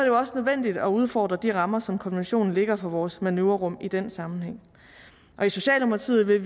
jo også nødvendigt at udfordre de rammer som konventionen lægger for vores manøvrerum i den sammenhæng og i socialdemokratiet vil